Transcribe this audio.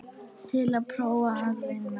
Til að prófa að vinna.